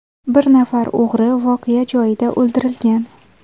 Bir nafar o‘g‘ri voqea joyida o‘ldirilgan.